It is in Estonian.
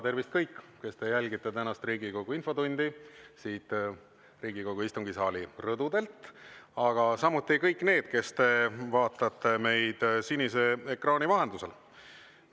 Tervist, kõik, kes te jälgite tänast Riigikogu infotundi siit Riigikogu istungisaali rõdudelt, aga samuti kõik need, kes te vaatate meid sinise ekraani vahendusel!